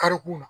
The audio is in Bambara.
Karikun na